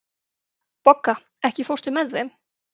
Bogga, ekki fórstu með þeim?